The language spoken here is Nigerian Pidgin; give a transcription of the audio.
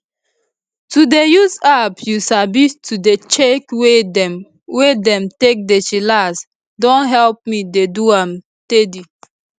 to dey use app you sabi to dey check way dem wey dem take dey chillax don help me dey do am teady